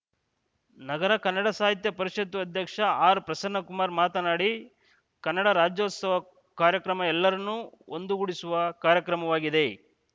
ನಗರ ಕನ್ನಡ ಸಾಹಿತ್ಯ ಪರಿಷತ್ತು ಅಧ್ಯಕ್ಷ ಆರ್‌ಪ್ರಸನ್ನಕುಮಾರ್‌ ಮಾತನಾಡಿ ಕನ್ನಡ ರಾಜ್ಯೋತ್ಸವ ಕಾರ್ಯಕ್ರಮ ಎಲ್ಲರನ್ನೂ ಒಂದುಗೂಡಿಸುವ ಕಾರ್ಯಕ್ರಮವಾಗಿದೆ